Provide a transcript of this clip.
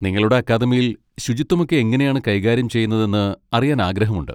നിങ്ങളുടെ അക്കാദമിയിൽ ശുചിത്വമൊക്കെ എങ്ങനെയാണ് കൈകാര്യം ചെയ്യുന്നതെന്ന് അറിയാൻ ആഗ്രഹമുണ്ട്.